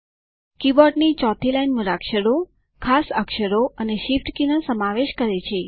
કીબોર્ડની ચોથી લાઈન મૂળાક્ષરો ખાસ અક્ષરો અને શિફ્ટ કીનો સમાવેશ કરે છે